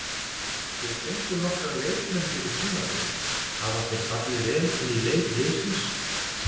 Þið fenguð nokkra leikmenn fyrir tímabilið, hafa þeir fallið vel inn í leik liðsins?